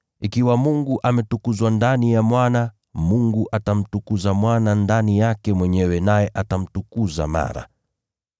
Ikiwa Mungu ametukuzwa ndani ya Mwana, Mungu atamtukuza Mwana ndani yake mwenyewe naye atamtukuza mara.